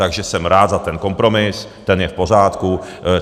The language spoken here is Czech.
Takže jsem rád za ten kompromis, ten je v pořádku.